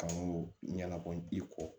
Kan ko ɲɛnabɔ i kɔ